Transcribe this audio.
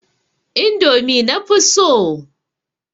Indomi na fi so.